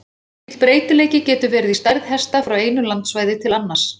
Mikill breytileiki getur verið í stærð hesta frá einu landssvæði til annars.